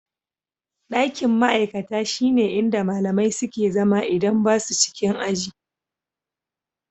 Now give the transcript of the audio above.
Ɗakin ma'aikata shine inda malamai suke zama idan ba su cikin aji.